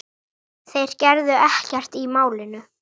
Þeir gerðu ekkert í málinu.